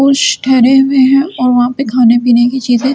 कुछ ठहरे हुए हैं वहा पे खाने पीने कि चीजे --